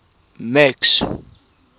max